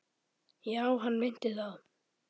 Já, hann meinti það.